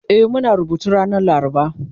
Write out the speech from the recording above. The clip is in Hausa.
E Muna rubutu ranar laraba